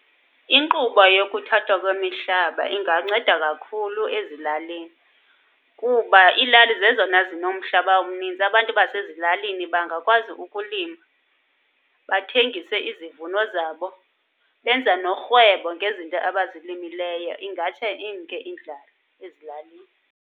Inkqubo yokuthathwa kwemihlaba inganceda kakhulu ezilalini kuba iilali zezona zinomhlaba umninzi. Abantu basezilalini bangakwazi ukulima, bathengise izivuno zabo, benza norhwebo ngezinto abazilimileyo. Ingatsho imke indlala ezilalini.